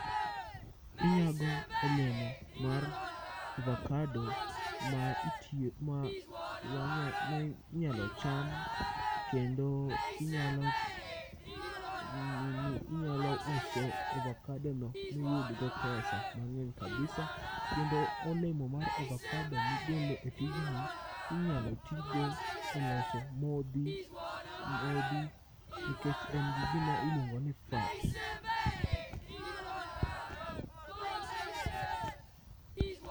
Inyago olemo mar ovakado ma itiyo, ma wanya mi inyalo cham kendo inyalo, inyalo uso ovakadono miyudgo pesa mang'eny kabisa. Kendo olemo mar ovakado migolo e tijni inyalo tigo e loso modhi nikech en gi gima iluongo ni fat.